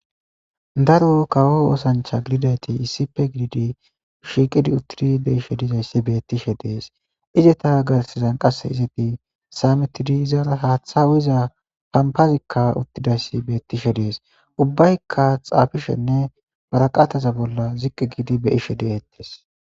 Daro kawo oosancha gididayti issipe gididi shiiqidi uttidi de ishe dizayssi bettishe dees izeta garsizan qasse izedi saametidi izara haaththa wiza pampazikka uttidayssi beettishe dees ubbaykka xaafishenne baraqataza bolla ziqqi giidi be ishe deetties.